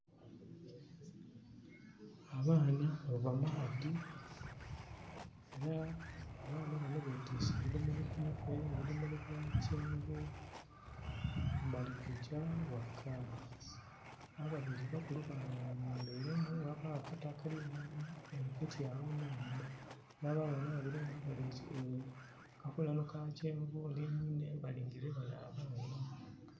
Abaana bava maadhi. Abaana bano betiise ebidomolo ku mutwe. Ebidomolo bya kyenvu. Balikugya ghaka. Ababiri bakulu bayembeiremu ghabawo akato akalimu ghagati agho neinhuma....